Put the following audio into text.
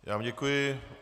Já vám děkuji.